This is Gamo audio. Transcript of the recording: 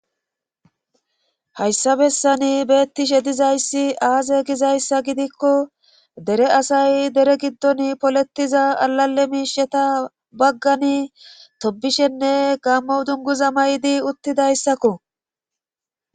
hayssa bessani beettishe dizayssi aaze gizayssa gidikko dere asay dere giddon polettiza alale miisheta baggani tobishenne gammo dunguza may7di uttidayssakko